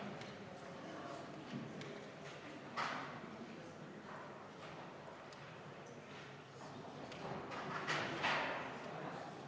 Meie arutaksime hea meelega seda julgemini juba enne järgmisi valimisi ja kas või tuleva aasta riigieelarve kontekstis.